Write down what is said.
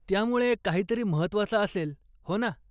त्यामुळे, काहीतरी महत्वाचं असेल, हो ना?